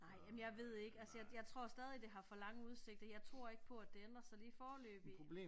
Nej jamen jeg ved ikke altså jeg jeg tror stadig det har for lange udsigter jeg tror ikke på at det ændrer sig lige foreløbigt